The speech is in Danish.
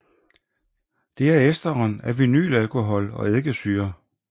Det er esteren af vinylalkohol og eddikesyre